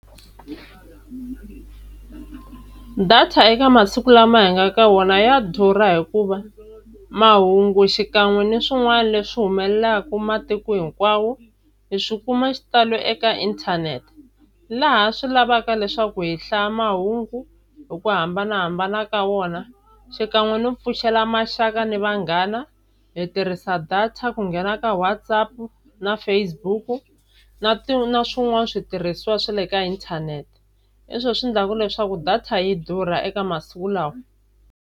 Data eka masiku lama hi nga ka wona ya durha hikuva mahungu xikan'we ni swin'wana leswi humelelaka matiko hinkwawo hi swikuma xitalo eka inthanete, laha swi lavaka leswaku hi hlaya mahungu hi ku hambanahambana ka wona xikan'we no pfuxela maxaka na vanghana hi tirhisa data ku nghena eka WhatsApp na Facebook na na swin'wana switirhisiwa swa le ka inthanete hi swo swi endlaka leswaku data yi durha eka masiku lawa.